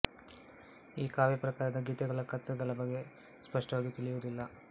ಈ ಕಾವ್ಯ ಪ್ರಕಾರದ ಗೀತೆಗಳ ಕರ್ತೃಗಳ ಬಗೆಗೆ ಸ್ಪಷ್ಟವಾಗಿ ತಿಳಿಯುವುದಿಲ್ಲ